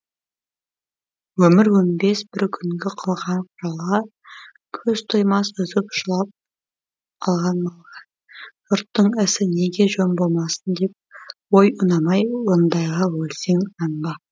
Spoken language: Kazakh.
өмір өнбес бір күнгі қылған жалға көз тоймас үзіп жылап қалған малға жұрттың ісі неге жөн болмасын деп ой ұнамай ондайға өлсең нанба